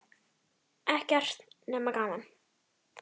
Ekkert nema gaman!